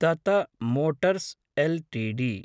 तत motors LTD